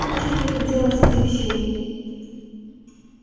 очень захотелось этих щей